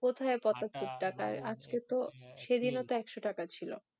কোথায় কত টাকা সেদিন ও তো একশো টাকা ছিল